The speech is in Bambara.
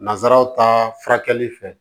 Nanzaraw ta furakɛli fɛ